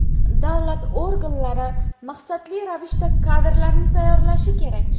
Davlat organlari maqsadli ravishda kadrlarni tayyorlashi kerak.